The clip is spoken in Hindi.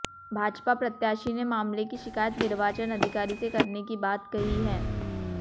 भाजपा प्रत्याशी ने मामले की शिकायत निर्वाचन अधिकारी से करने की बात कही है